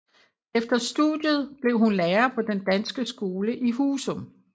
Efter studiet blev hun lærer på den danske skole i Husum